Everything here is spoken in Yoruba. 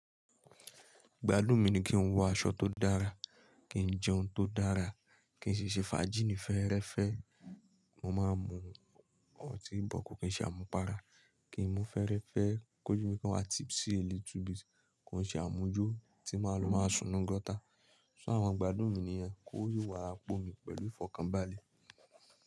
Igbádùn mi ni kí n wọ aṣọ tó dára, kí n jẹ oun tó dára, kí n siṣe fajíní fẹ́ẹ́rẹ́fẹ́. Mo ma mu ọtí bọ̀ ko kìí ṣe àmupara, kì í mú fẹ́ẹ́rẹ́fẹ́ kójú mi kan wá tipsy a little bit kò ṣe àmuju tí máa lo máa sùn ninù gọ́tà. Ṣé àwọn igbádùn mi nìyẹn? Kó yóò wá ra pọ mi pẹ̀lú ìfọ̀kànbalẹ̀.